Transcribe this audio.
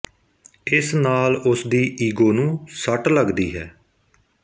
ਇਸ ਨਾਲ ਉਸਦੀ ਈਗੋ ਨੂੰ ਸੱਟ ਲਗਦੀ ਹੈ